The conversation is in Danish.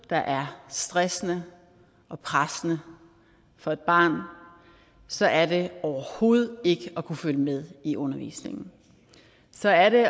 der er stressende og pressende for et barn så er det overhovedet ikke at kunne følge med i undervisningen så er det